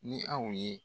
Ni aw ye